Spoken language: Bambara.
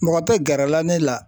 Mɔgɔ tɛ gɛrɛla ne la